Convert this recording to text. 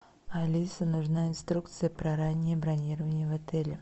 алиса нужна инструкция про раннее бронирование в отеле